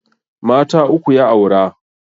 Mata uku ya aura